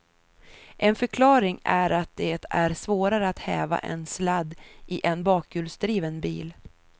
En förklaring är att det är svårare att häva en sladd i en bakhjulsdriven bil.